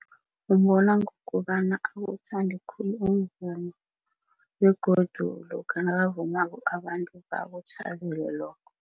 Ubona ngokobana awuthande khulu umvumo begodu lokha nakavumako abantu bakuthabele lokho.